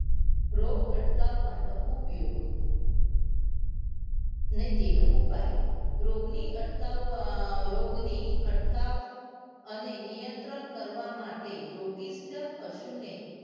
રોગ અટકાવવા નો ઉપયોગ ને તેનો ઉપાય રોગ ની અટકાવ અ રોગ ની અટકાવ અને નિયંત્રણ કરવા માટે રોગીષ્ટ પશુ ને